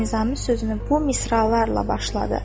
Nizami sözünü bu misralarla başladı.